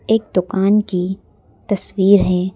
एक दुकान की तस्वीर है।